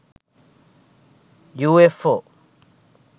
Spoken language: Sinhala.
ufo